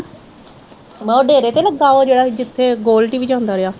ਮੈ ਕਿਹਾ ਉਹ ਡੇਰੇ ਤੇ ਲੱਗਾ ਉਹ ਜਿਹੜਾ ਜਿੱਥੇ ਗੋਲਡੀ ਵੀ ਜਾਂਦਾ ਰਹਿਆ।